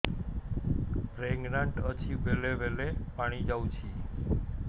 pregnant ଅଛି ବେଳେ ବେଳେ ପାଣି ଯାଉଛି